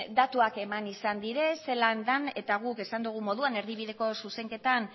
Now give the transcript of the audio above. datuak eman izan dira zelan den eta guk esan dugun moduan erdibideko zuzenketan